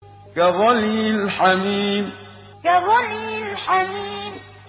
كَغَلْيِ الْحَمِيمِ كَغَلْيِ الْحَمِيمِ